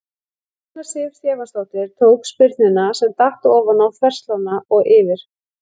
Rúna Sif Stefánsdóttir tók spyrnuna sem datt ofan á þverslánna og yfir.